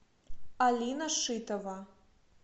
алина шитова